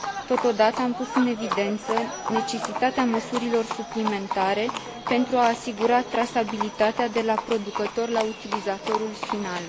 Totodată, am pus în evidență necesitatea măsurilor suplimentare, pentru a asigura trasabilitatea de la producător la utilizatorul final.